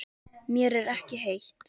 Mér er ekki heitt.